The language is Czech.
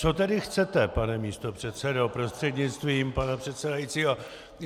Co tedy chcete, pane místopředsedo prostřednictvím pana předsedajícího?